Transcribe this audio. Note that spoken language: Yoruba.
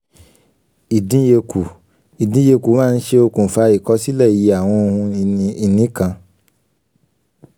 ìdínyekù: ìdínyekù máa ń ṣe okùnfà ìkọ̀sílẹ̀ iye àwọn ohun ìní kan.